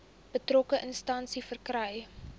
betrokke instansie verkry